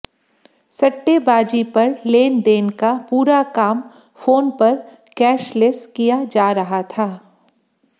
सट्टेबाजी पर लेनदेन का पूरा काम फ़ोन पर कॅशलेस किया जा रहा था